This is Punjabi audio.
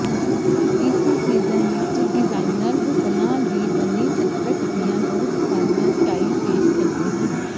ਇਸ ਸੀਜ਼ਨ ਵਿਚ ਡਿਜ਼ਾਇਨਰਜ਼ ਸਣਾਂ ਦੀ ਬਣੀ ਸਕਰਟ ਦੀਆਂ ਬਹੁਤ ਸਾਰੀਆਂ ਸਟਾਈਲ ਪੇਸ਼ ਕਰਦੇ ਹਨ